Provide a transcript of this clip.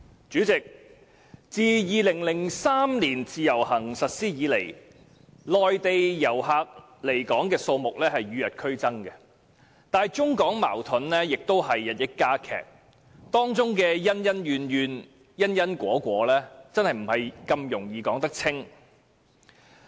主席，自2003年自由行實施以來，內地來港旅客的數目與日俱增，而中港矛盾也日益加劇，當中的恩恩怨怨，因因果果，實不易說清。